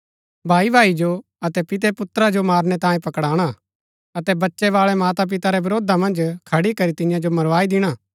भाई भाई जो अतै पिते पुत्रा जो मारणै तांयें पकड़ाणा अतै बच्चै बाळै माता पिता रै वरोधा मन्ज खड़ी करी तियां जो मरवाई दिणा